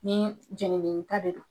Ni jenni ta de don.